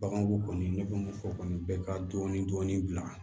Baganko kɔni ne b'o o kɔni bɛ ka dɔɔni dɔɔni bila